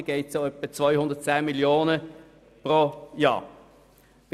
Insgesamt geht es dabei um etwa 10 Mio. Franken pro Jahr.